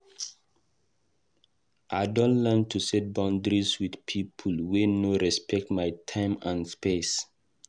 I don learn to set boundaries with people wey no respect my time and space.